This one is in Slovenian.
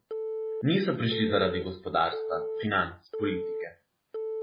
Niso prišli zaradi gospodarstva, financ, politike.